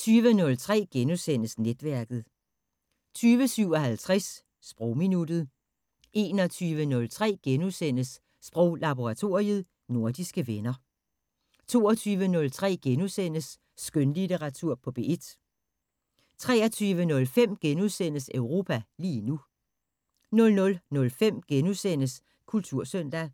20:03: Netværket * 20:57: Sprogminuttet 21:03: Sproglaboratoriet: Nordiske venner * 22:03: Skønlitteratur på P1 * 23:05: Europa lige nu * 00:05: Kultursøndag